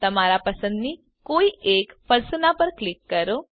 તમારા પસંદની કોઈ એક પર્સોના પર ક્લિક કરો